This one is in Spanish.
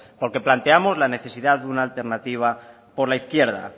porque planteamos la necesidad de una alternativa por la izquierda